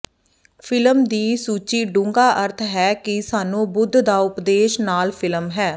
film ਦੀ ਸੂਚੀ ਡੂੰਘਾ ਅਰਥ ਹੈ ਕਿ ਸਾਨੂੰ ਬੁੱਧ ਦਾ ਉਪਦੇਸ਼ ਨਾਲ ਫਿਲਮ ਹੈ